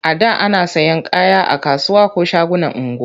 A da ana sayan kaya a kasuwa ko shagunan unguwa.